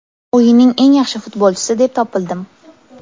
O‘yinning eng yaxshi futbolchisi deb topildim?